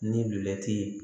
Ni ye